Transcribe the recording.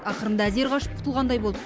ақырында әзер қашып құтылғандай болдық